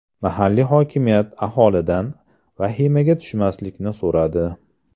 Mahalliy hokimiyat aholidan vahimaga tushmaslikni so‘radi.